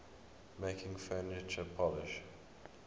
making furniture polish